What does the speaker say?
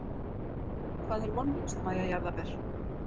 Hvað er vonlaust Mæja jarðaber?